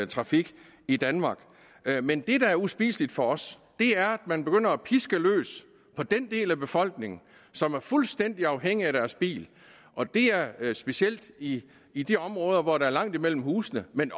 trafik i danmark men det der er uspiseligt for os er at man begynder at piske løse på den del af befolkningen som er fuldstændig afhængig af deres bil og det er er specielt i i de områder hvor der er langt imellem husene men